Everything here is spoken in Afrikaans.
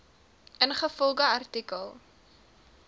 ingevolge artikel